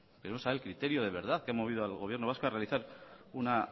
queremos saber el criterio de verdad ha movido al gobierno vasco a realizar una